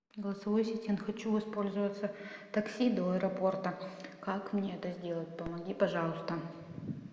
голосовой ассистент хочу воспользоваться такси до аэропорта как мне это сделать помоги пожалуйста